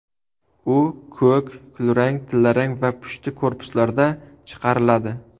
U ko‘k, kulrang, tillarang va pushti korpuslarda chiqariladi.